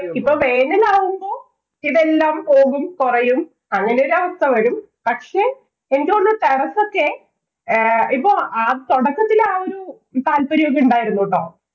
ഇപ്പൊ വേനലാകുമ്പോ ഇതെല്ലാം പോകും, കൊറയും. അങ്ങനെ ഒരവസ്ഥ വരും. പക്ഷേ എനിക്ക് തോന്നുന്നു ഇപ്പൊ തൊടക്കത്തില്‍ ആ ഒരു താല്പര്യം ഒക്കെ ഉണ്ടായിരുന്നു ട്ടോ.